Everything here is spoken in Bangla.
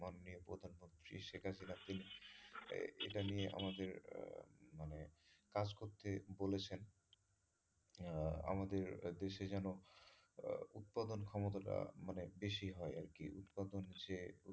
এটা নিয়ে আমাদের আহ মানে কাজ করতে বলেছেন আহ আমাদের দেশে যেন আহ উৎপাদন ক্ষমতা টা আহ যেন মানে বেশি হয় আরকি উৎপাদন যে,